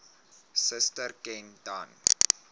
suster ken dan